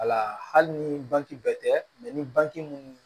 Wala hali ni banke bɛɛ tɛ ni bange minnu